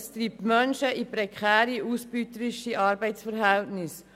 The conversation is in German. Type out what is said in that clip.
Es treibt Menschen in prekäre, ausbeuterische Arbeitsverhältnisse.